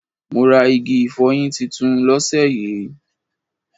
Mo rà igi ifoyin titun lóse yí